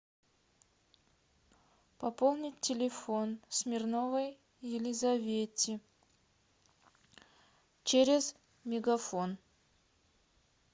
пополнить телефон смирновой елизавете через мегафон